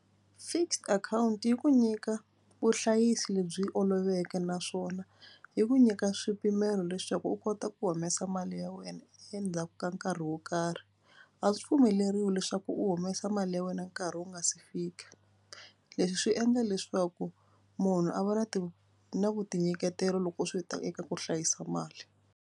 Fixed akhawunti yi ku nyika vuhlayisi lebyi oloveke naswona yi ku nyika swipimelo leswaku u kota ku humesa mali ya wena endzhaku ka nkarhi wo karhi. A swi pfumeleriwi leswaku u humesa mali ya wena nkarhi wu nga si fika. Leswi swi endla leswaku munhu a va na na ku tinyiketela loko swi ta eka ku hlayisa mali.